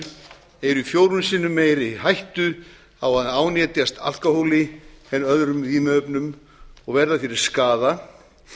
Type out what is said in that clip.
eru í fjórum sinnum meiri hættu á að ánetjast alkóhóli en öðrum vímuefnum og verða fyrir skaða